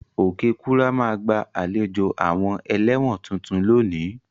Okekura ma gba àlejò àwon eléwòn tuntun lónìí